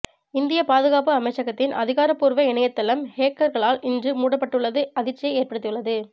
இந்திய பாதுகாப்பு அமைச்சகத்தின் அதிகாரப்பூர்வ இணையதளம் ஹேக்கர்களால் இன்று முடக்கப்பட்டுள்ளது அதிர்ச்சியை ஏற்படுத்தியுள்ளது